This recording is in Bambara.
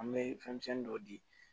An bɛ fɛnmisɛnnin dɔ di